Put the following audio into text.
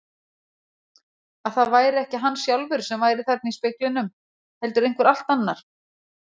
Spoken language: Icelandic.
Að það væri ekki hann sjálfur sem væri þarna í speglinum heldur einhver allt annar.